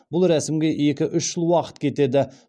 бұл рәсімге екі үш жыл уақыт кетеді